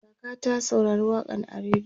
kaka ta saurari waƙan a rediyo